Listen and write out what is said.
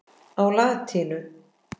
á latínu.